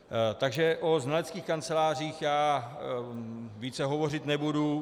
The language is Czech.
Takže o znaleckých kancelářích já více hovořit nebudu.